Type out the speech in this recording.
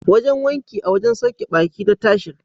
Wajen wanki a wajen sauke ɓaki na Tahir.